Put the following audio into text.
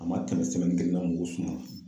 A ma tɛmɛ kelen kan mugu sumana.